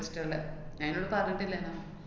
~ണ്ടിട്ടിള്ളെ. ഞാന്‍ നിന്നോട് പറഞ്ഞിട്ടില്ലേന്നാ?